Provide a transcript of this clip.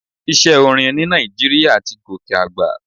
Iṣẹ́ orin ní Nàìjíríà ti gòkè àgbà.